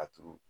A turu